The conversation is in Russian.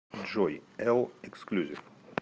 джой элл эксклюзив